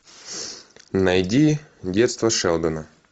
найди детство шелдона